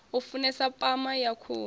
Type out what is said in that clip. u funesa pama ya khuhu